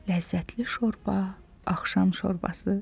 Ləzzətli şorba, axşam şorbası.